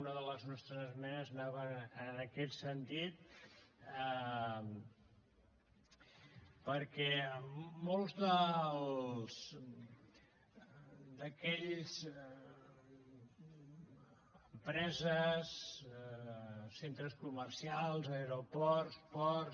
una de les nostres esmenes anava en aquest sentit perquè moltes d’aquelles empreses centres comercials aeroports ports